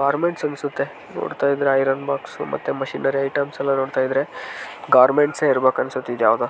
Garment ಅನ್ಸುತ್ತೆ ನೋಡ್ತಾ ಇದ್ರೆ ಐರನ್ ಬಾಕ್ಸ್ ಮತ್ತೆ ಮಿಷಿನರಿ ಐಟಮ್ಸ್ ನೋಡ್ತಾ ಇದ್ರೆ ಗಾರ್ಮೆಂಟ್ಸೇ ಇರ್ಬೇಕು ಅನ್ಸುತ್ತೆ ಇದು ಯಾವುದು.